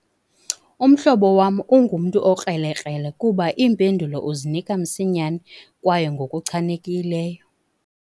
Umhlobo wam ungumntu okrelekrele kuba iimpendulo uzinika msinyane kwaye ngokuchanekileyo.